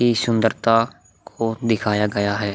ये सुंदरता को दिखाया गया है।